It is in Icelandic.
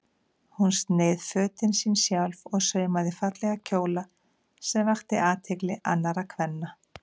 Hún sneið fötin sín sjálf og saumaði fallega kjóla sem vöktu athygli annarra kvenna.